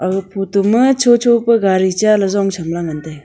ah photo ma chocho pa gari chaley jong chamla ngan taiga